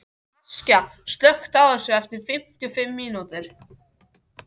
Askja, slökktu á þessu eftir fimmtíu og fimm mínútur.